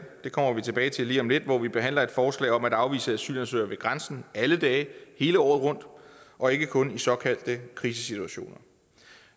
det kommer vi tilbage til lige om lidt hvor vi behandler et forslag om at afvise asylansøgere ved grænsen alle dage hele året rundt og ikke kun i såkaldte krisesituationer